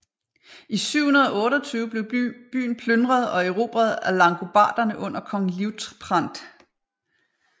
I 728 blev byen plyndret og erobret af langobarderne under kong Liutprand